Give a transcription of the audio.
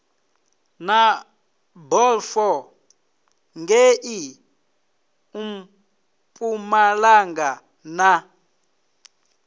na balfour ngei mpumalanga na